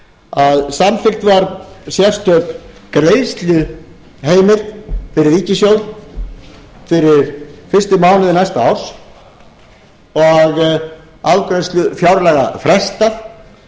að samþykkt var sérstök greiðsluheimild fyrir ríkissjóð fyrir fyrstu mánuði næsta árs og afgreiðslu fjárlaga frestað til þess að þau